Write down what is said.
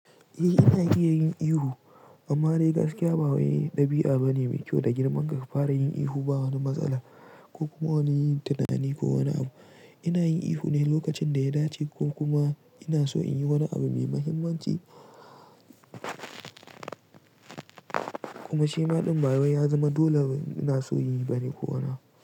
Eh ina iya yin ihu amma dai gaskiya ba wani ɗabi'a bane mai kyau da girman ka ka fara yin ihu ba wani matsala ko kuma wani yanayi ko wani abu. Ina yin ihu ne lokacin da ya dace ko kuma ina so in yi wani abu mai mahimmanci. Kuma shima ɗin bawai ya zama dole ina son yi bane ko wani abu.